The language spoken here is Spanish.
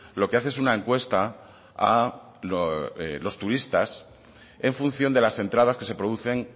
lo que hace es una encuesta a los turistas en función de las entradas que se producen